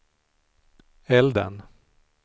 elden